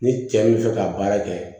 Ni cɛ bɛ fɛ ka baara kɛ